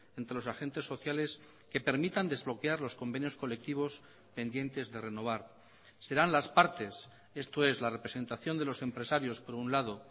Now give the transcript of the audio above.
entre los agentes sociales que permitan desbloquear los convenios colectivos pendientes de renovar serán las partes esto es la representación de los empresarios por un lado